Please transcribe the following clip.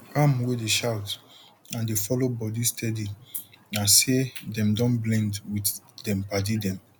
ram wey dey shout and dey follow body steady na say dem don blend with dem padi dem